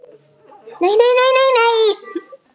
Ég svara engu.